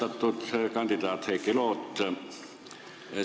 Austatud kandidaat Heiki Loot!